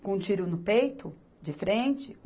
com um tiro no peito, de frente.